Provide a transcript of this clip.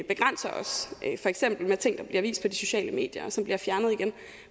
begrænser os for eksempel med ting der bliver vist på de sociale medier og som bliver fjernet igen